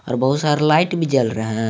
और बहुत सारा लाइट भी जल रहे--